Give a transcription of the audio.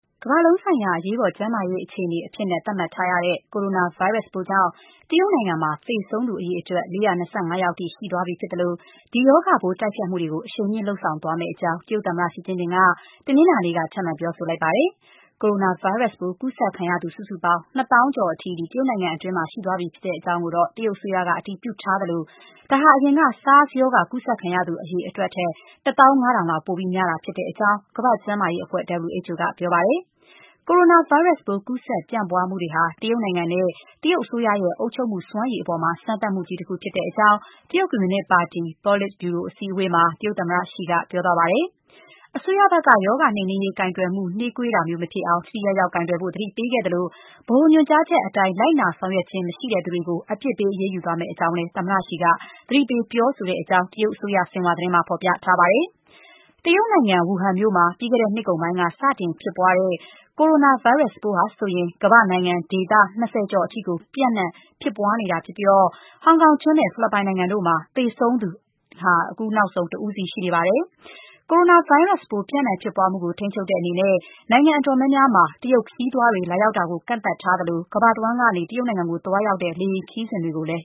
ကမ္ဘာလုံးဆိုင်ရာ အရေးပေါ် ကျန်းမာရေးအခြေအနေအဖြစ် သတ်မှတ်ထားတဲ့ ကိုရိုနာဗိုင်းရပ်စ်ပိုးကြောင့် တရုတ်နိုင်ငံမှာ သေဆုံးသူ ၄၂၇ ယောက်အထိ ရှိသွားပြီဖြစ်သလို ဒီရောဂါပိုး တိုက်ဖျက်မှုတွေ အရှိန်မြှင့် လုပ်ဆောင်သွားမယ့်အကြောင်း တရုတ်သမ္မတ ရှီကျင်းဖျင်က တနင်္လာနေ့က ထပ်မံပြောဆိုလိုက်ပါတယ်။ ကိုရိုနာဗိုင်းရပ်စ် ကူးစက်ခံရသူစုစုပေါင်း ၂၀,၀၀၀ ကျော်အထိ ရှိသွားပြီဖြစ်ကြောင်း တရုတ်အစိုးရက အတည်ပြုထားသလို ဒါဟာ အရင်က SARS ရောဂါကူးစက်ခံရသူ အရေအတွက်ထက် ၁၅,၀၀၀ လောက် ပိုများတယ်လို့ ကမ္ဘာ့ကျန်းမာရေးအဖွဲ့ WHO က ပြောပါတယ်။ ကိုရိုနာဗိုင်းရပ်စ်ပိုး ကူးစက်ဖြစ်ပွားမှုတွေဟာ တရုတ်နိုင်ငံနဲ့ တရုတ် အစိုးရရဲ့ အုပ်ချုပ်မှုစွမ်းရည်အပေါ် စမ်းသပ်မှုကြီး တခုဖြစ်ကြောင်း တရုတ်ကွန်မြူနစ်ပါတီ ပေါလစ်ဗျူရိုအစည်းအဝေးမှာ သမ္မတရှီက ပြောသွားပါတယ်။ အစိုးရဘက်က ရောဂါနှိမ်နင်းရေး ကိုင်တွယ်မှု နှေးကွေးတာမျိုးမဖြစ်အောင် ထိထိရောက်ရောက်ကိုင်တွယ်ဖို့ သတိပေးခဲ့သလို ဗဟိုညွှန်ကြားချက်အတိုင်း လိုက်နာဆောင်ရွက်ခြင်း မရှိသူတွေကို အပြစ်ပေး အရေးယူသွားမယ့်အကြောင်းလည်း သမ္မတရှီက သတိပေးပြောဆိုကြောင်းကို တရုတ်အစိုးရ ဆင်ဟွာသတင်းမှာ ဖော်ပြထားပါတယ်။ တရုတ်နိုင်ငံ ဝူဟန်မြို့မှာ ပြီးခဲ့တဲ့နှစ်ကုန်က စတင်ဖြစ်ပွားတဲ့ ကိုရိုနာဗိုင်းရပ်စ်ပိုးဟာ ကမ္ဘာတဝန်း နိုင်ငံနဲ့ ဒေသ၂၀ ကျော်အထိ ကူးစက် ပျံ့နှံ့နေတာဖြစ်ပြီး ဟောင်ကောင်ကျွန်းနဲ့ ဖိလစ်ပိုင်နိုင်ငံတို့မှာ အခုနောက်ဆုံး ဒီရောဂါကြောင့် သေဆုံးသူ တဦးစီ ရှိနေပါတယ်။ ကိုရိုနာဗိုင်းရပ်စ်ပိုး ပျံ့နှံ့ဖြစ်ပွားမှုကို ထိန်းချုပ်တဲ့အနေနဲ့ နိုင်ငံအတော်များများမှာ တရုတ်ခရီးသွားတွေကို လာရောက်တာကို ကန့်သတ်ထားသလို ကမ္ဘာတဝန်းက တရုတ်နိုင်ငံကို သွားရောက်တဲ့ လေယာဉ်ခရီးစဉ်တွေလည်း